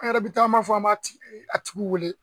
An yɛrɛ bɛ taama fɔ an m'a a tigiw wele.